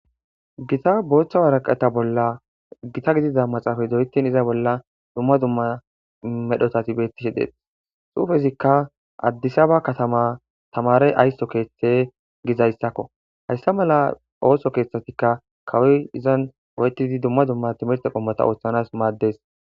gita booththa waraqata bolla gita gidida maxaafay doyetin iza bolla dumma dumma medhotati bettishi dees suufezikka addisaba katama tamare aysso keeththe gizayssakko hayssa mala ooso keeththatikka kawoy izan oytidi dumma dumma timirte qommota ooththanas maaddes